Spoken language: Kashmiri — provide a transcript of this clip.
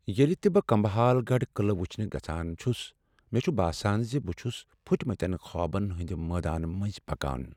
ییٚلہ تہ بہٕ کمبھال گڑھ قلعہ وچھنہ گژھان چھُس مےٚ چھ باسان ز بہٕ چھس پھٕٹمتین خوابن ہٕندِ میدانہٕ منزۍ پکان۔